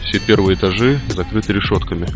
все первые этажи закрыты решётками